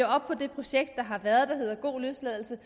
op på det projekt der har været der hedder god løsladelse